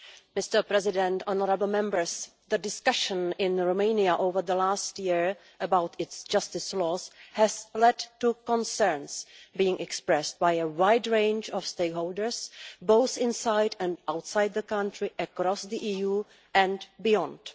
Mr President, the discussion in Romania over the last year about its justice laws has led to concerns being expressed by a wide range of stakeholders, both inside and outside the country, across the EU and beyond.